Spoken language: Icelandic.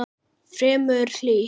Fremur hlýtt.